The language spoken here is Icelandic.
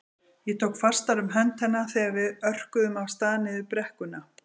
Ég tók fastar um hönd hennar þegar við örkuðum af stað niður brekkuna.